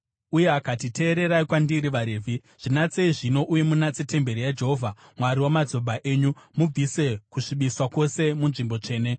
Uye akati, “Teererai kwandiri, vaRevhi! Zvinatsei zvino uye munatse temberi yaJehovha, Mwari wamadzibaba enyu. Mubvise kusvibiswa kwose munzvimbo tsvene.